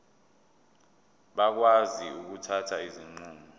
bakwazi ukuthatha izinqumo